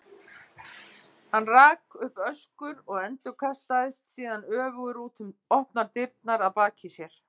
Hann rak upp öskur og endurkastaðist síðan öfugur út um opnar dyrnar að baki sér.